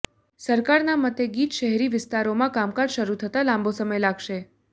સરકારના મતે ગીચ શહેરી વિસ્તારોમાં કામકાજ શરૂ થતાં લાંબો સમય લાગશે